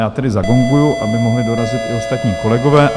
Já tedy zagonguji, aby mohli dorazit i ostatní kolegové.